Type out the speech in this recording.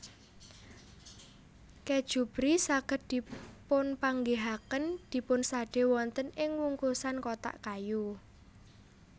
Kèju Brie saged dipunpanggihaken dipunsadé wonten ing wungkusan kotak kayu